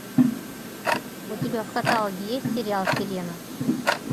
у тебя в каталоге есть сериал сирена